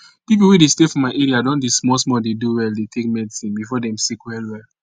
people wey dey stay for my area don dey small small dey do well dey take medicine before dem sick well well